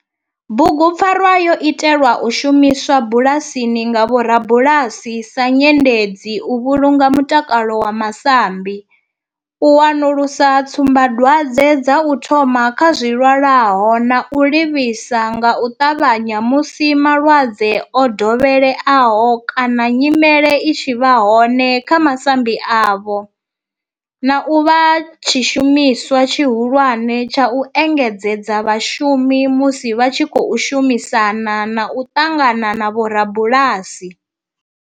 Bugu pfarwa yo itelwa u shumiswa bulasini nga vhorabulasi sa nyendedzi u vhulunga mutakalo wa masambi, u wanulusa tsumba dwadzwe dza u thoma kha zwilwalaho na u livhisa nga u tavhanya musi malwadze o dovheleaho kana nyimele i tshi vha hone kha masambi avho, na u vha tshishumiswa tshihulwane tsha u engedzedza vhashumi musi vha tshi khou shumisana na u ṱangana na vhorabulasi.